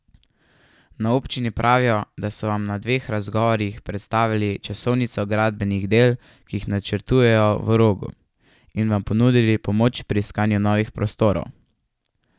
Na občini pravijo, da so vam na dveh razgovorih predstavili časovnico gradbenih del, ki jih načrtujejo v Rogu, in vam ponudili pomoč pri iskanju novih prostorov.